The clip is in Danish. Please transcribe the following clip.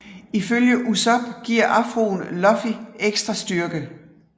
Ifølge Usopp giver afroen Luffy ekstra styrke